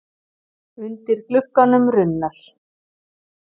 Undir glugganum runnar.